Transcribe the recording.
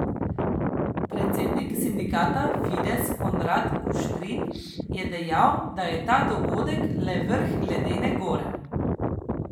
Predsednik sindikata Fides Konrad Kuštrin je dejal, da je ta dogodek le vrh ledene gore.